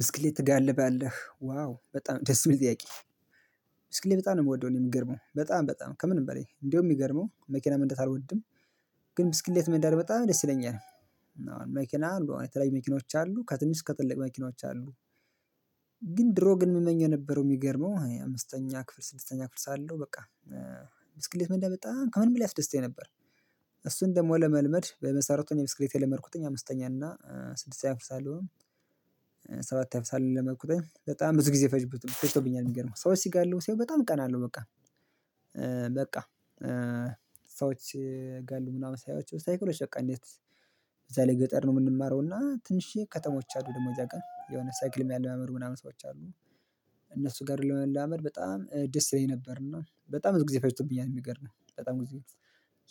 ብስክሌት ትጋልባለህ ዋው በጣም ደስ የምል ጥያቄ? ብስክሌት በጣም ነው የምወደው እኔ የምገርመው በጣም በጣም ከምንም በሌ እንደውም የሚገርመው መኪና መንዳት አልወድም። ግን ብስክሌት መንደት በጣም ደስ ይለኛል። መኪና በጣም የተለያዩ መኪኖች አሉ ከትንሽ እስከ ትልቅ መኪኖች አሉ። ግን ድሮ ግን የምመኘው የነበረው የሚገርመው አምስተኛ ክፍል ስድስተኛ ክፍል ሳለሁ በቃ። ብስክሌት መንደት በጣም ከምንም ላይ ያስደስተኝ ነበር። እሱን ደግሞ ለመልመድ በመሰረቱን እኔ ብስክሌት የለመድኩትኝ አምስተኛ እና ስድስተኛ ክፍል ሳለሁ። ነው ሰባተኛ ክፍል ሳለሁ ነው የለመድኩትኝ በጣም ብዙ ጊዜ ፈጅ ፈጅቶብኛል። የሚገርመው ሰዎች ሲጋልቡ ሳይ በጣም እቀናለሁ በቃ። በቃ ሰዎች ስጋልቡ ምናምን ሳያቸው ሳይክሎች በቃ እንዴት? እዛ ላይ ገጠር ነው የምንማረው እና ትንሽዬ ከተሞች አሉ ደግሞ እዝያ ጋር የሆነ ሳይክል የምያለማምዱ ምናምን ሰዎች አሉ። እነሱ ጋር ለመለማመድ በጣም ደስ ይለኝ ነበር። እና በጣም ብዙ ጊዜ ፈጅቶብኛል የሚገርምህ በጣም ብዙ ጊዜ።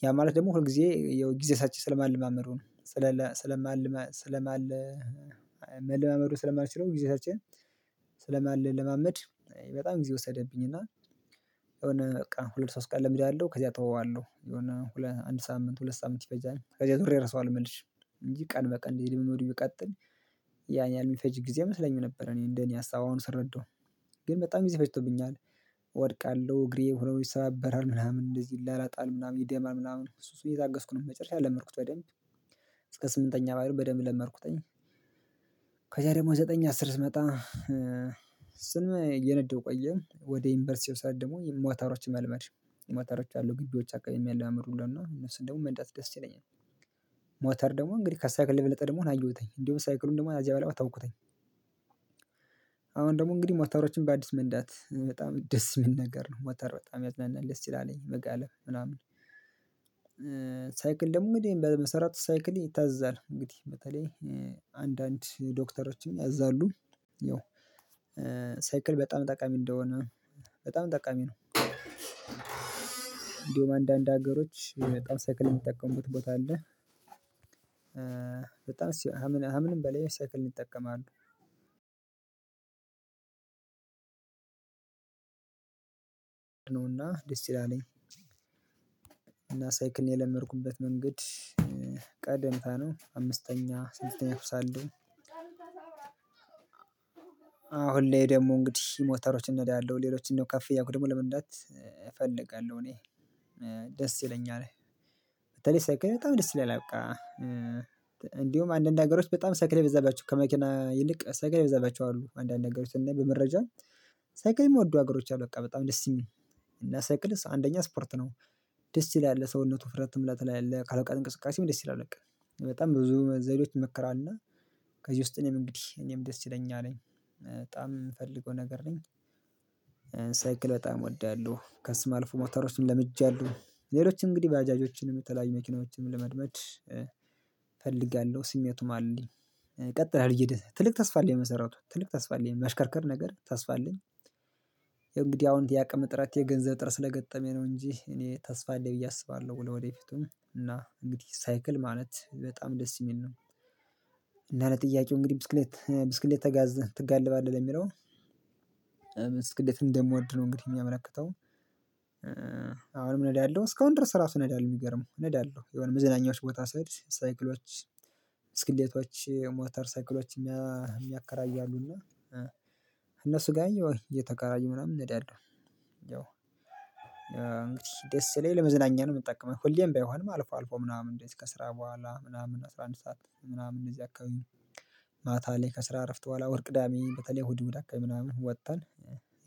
ያ ማለት ደግሞ ሁልጊዜ ያው ጊዜ ሰጥቼ ስለማልማመዱ ነው ስለ ለ ስለማልመ ስለማልመድ መለማመዱን ስለማልችለው ጊዜ ሰጥቼ ስለማልለማመድ በጣም ጊዜ ወሰደብኝ። እና። የሆነ በቃ ሁለት ሶስት ቀን እለምዳልሁ ከዛ እተወዋለሁ የሆነ ሁለት አንድ ሳምንት ሁለት ሳምንት ይፈጃል። ከዛ ዞሬ እረሰዋለሁ መልሼ እንጂ ቀን በቀን ልምምዱን ቢቀጥል። ያን ያህል የሚፈጅ ጊዜ አይመስለኝም ነበር እኔ እንደኔ ሀሳብ አሁን ስረዳው። ግን በጣም ጊዜ ፈጅቶብኛል። እወድቃለሁ እግሬ ሆኖ ይሰባበራል ምናምን እንደዚህ ይላላጣል ምናምን ይደማል ምናምን እሱ እሱን እየታገስኩ ነው መጨረሻ ለመድኩት በደንብ እስከ ስምንተኛ በደንብ ለመድኩትኝ። ከዛ ደግሞ ዘጠኝ አስር ስመጣ። ስ ዝም ብዬ እየነደሁ ቆየ ወደ ዩንቨርስቲው ሰዓት ደግሞ ሞታሮችን መልመድ ሞታሮች አሉ ግቢዎች አከባቢ የሚያለማምዱ እና እነሱን ደግሞ መንዳት ደስ ይለኛል። ሞተር ደግሞ እንግዲህ ከሳይክል የበለጠ እንደ ሆን አየሁትኝ እንዲሁም ሳይክሉን ደግሞ ከዚያ ቦኃላ ተውኩትኝ። አሁን ደግሞ እንግዲህ ሞተሮችን በአዲስ መንዳት በጣም ደስ የምል ነገር ነው ሞተር በጣም ያዝናናል ደስ ይላለ መጋለብ ምናምን። ሳይክል ደግሞ እንደሚባለው ሰይክል በመሰረቱ ይታዘዛል አንግዲህ በተለይ አንዳንድ ዶክተሮችን ያዛሉ። ያው ሳይክል በጣም ጠቃሚ እንደሆነ በጣም ጠቃሚ ነው እንዲሁም አንዳንድ ሀገሮች በጣም ሰክልን የሚጠቀሙበት ቦታ አለ። በጣም ከምን ከምንም በለይ ሰይክልን ይጠቀማሉ። ነው እና ደስነው ያለኝ። እና ሳይክልን የለመድኩበት መንገድ። ቀደምታ ነው አምስተኛ ስድስተኛ ክፍል ሳለሁ አሁን ላይ ደግሞ እንግዲህ ሞተሮችን እነዳለሁ ሌሎችን ደግሞ ከፍ እያልኩኝ ለመንዳት እፈልጋለሁ እኔ። ደስ ይለኛል። በተለይ ሳይክል በጣም ደስ ይለኛል በቃ። እንዲሁም አንዳንድ ሀገሮች በጣም ሰይክል የበዛባቸው ከመኪና ይልቅ ሳይክል የበዛባቸው አሉ አንዳንድ ሀገሮች እና በመረጃ ሳይክል የምወዱ ሀገሮች አሉ በቃ በጣም ደስ የሚል እና ሳይክል አንደኛ ስፖርት ነው። ደስ ይላል ለሰውነት ውፍረትም ለትላልቅ አካል እንቅስቃሴም ደስ ይላል በቀ በጣም ብዙ ዘዴዎች ይመከራል እና። ከዚህ ውስጥ እኔም እንግዲህ እኔም ደስተኛ ነኝ በጣም የምፈልገው ነገር ነው። ሳይክል በጣም እወዳለሁ ከሱም አልፎ ሞተሮችን ለምጃለሁ ሌሎች እንግዲህ ባጃጆችንም የተለያዩ መኪናዎችንም ለመልመድ እፈልጋለሁ ስሜቱም አለኝ ቀጥላለሁ ትልቅ ተስፋ አለኝ በመሰረቱ ትልቅ ተስፋ አለኝ መሽከርከር ነገር ተስፋ አለኝ። እንግዲህ አሁን የአቅም እጥረት የገንዘብ እጥረት ስለገጠመኝ ነው እንጂ እኔ ተስፋ አለኝ ብዬ አስባለሁ ለወደፊቱም እና እንግዲህ ሳይክል ማለት በጣም ደስ የሚል ነው። እና ለጥያቄው እንግዲህ ብስክሌት ብስክሌት ተጋዝን ትጋልባለህ ለሚለው። ብስክሌት እንደምወድ ነው እንግዲህ የሚያመለክተው። አሁንም እነዳለሁ እስካሁን ድረስ ራሱ እነዳለሁ የሚገርመው እነዳለሁ የሆነ መዝናኛዎች ቦታ ሲሄድ ሳይክሎች። ብስክሌቶች ሞተር ሳይክሎች የሚያ የሚያከራዩ አሉና። እነሱ ጋር እየተከራየሁ ምናምን እነዳለሁ። ያው እንግዲህ ደስ ስለኝ ለመዝናኛ ነው የምጠቀመው ሁሌም ባይሆንም አልፎ አልፎ ምናምን እንደዚህ ከስራ በኋላ ምናምን አስራ አንድ ሰዓት ምናምን እንደዚህ አካባቢ። ማታ ላይ ከስራ እረፍት በኋላ ወይ ቅዳሜ በተለይ እሁድ እሁድ አከባቢ ምናምን ወጥተን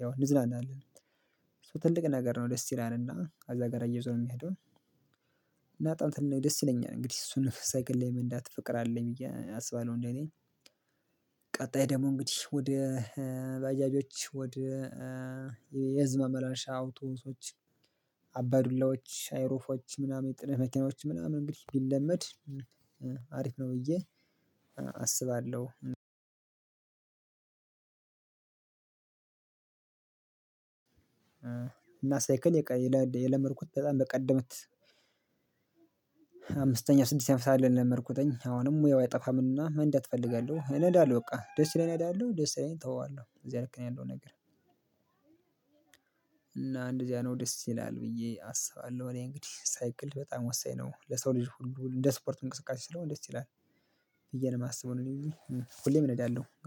ያው እንዝናናለን። እሱ ትልቅ ነገር ነው ደስ ይለል እና ከዛ ጋር አያይዞ ነው የሚሄደው። እና ጥያቄው ደስ ይለኛል እንግዲህ እሱን ሳይክል የመንዳት ፍቅር አለኝ ብዬ አስባለሁ እንደኔ። ቀጣይ ደግሞ እንግዲህ ወደ በጃጆች ወደ የህዝብ መመላሻ አውቶቢሶች። አባዱላዎች ሀይሩፎች ምናምን የጭነት መኪናዎች ምናምን እንግዲህ ቢለመድ። አሪፍ ነው ብዬ አስባለሁ። እና ሳይክል የቀ የለመድኩት በጣም በቀደመት። አምስተኛ ስድስተኛ ክፍል ሳለሁ ነው የለመድኩትኝ። አሁንም ሙያው አይጠፋም እና መንዳት እፈልጋለሁ እነዳለሁ በቃ ደስ ስለኝ እነዳለሁ ደስ ስለኝ እተወዋለሁ እያ አይነት ነው ያለው ነገር። እና እንደዚያ ነው ደስ ይላል ብዬ አስባለሁ። እኔ እንግዲህ ሳይክል በጣም ወሳኝ ነው ለሰው ልጅ ሁሉ እንደ ስፖርት እንቅስቃሴ ስለሆነ ደስ ይላል። ብዬነው የማስበው እኔ። ሁሌም እነዳለሁ